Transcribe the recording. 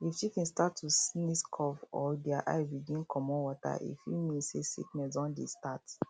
if chicken start to sneeze cough or their eye begin comot water e fit mean say sickness don dey start